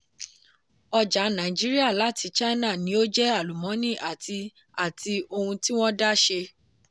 ọjà nàìjíríà láti china ní ó jẹ́ àlùmọ́nì àti àti ohun tí wọ́n dá ṣe.